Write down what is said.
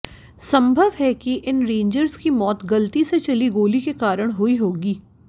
संभव है कि इन रेंजर्स की मौत गलती से चली गोली के कारण हुई होगी